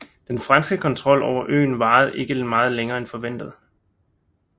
Den franske kontrol over øen varede ikke meget længe end forventet